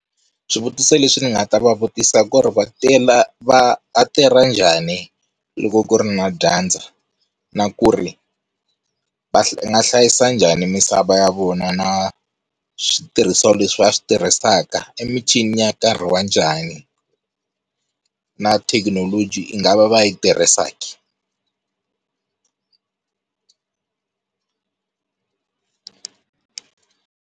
Swivutiso leswi ndzi nga ta va vutisa ku ri va va tirha njhani, loko ku ri na dyandza na ku ri va nga hlayisa njhani misava ya vona na switirhisiwa leswi va switirhisaka i michini ya nkarhi wa njhani na thekinoloji va nga va va yi tirhisaki?